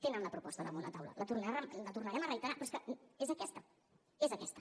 tenen la proposta damunt la taula la tornarem a reiterar però és que és aquesta és aquesta